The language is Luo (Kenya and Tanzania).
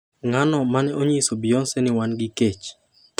"Ng'ano mane onyisi Beyoncé ni wan gi kech?"